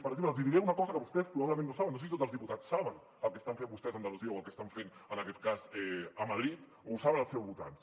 per exemple els hi diré una cosa que vostès probablement no saben no sé si tots els diputats saben el que estan fent vostès a andalusia o el que estan fent en aquest cas a madrid o ho saben els seus votants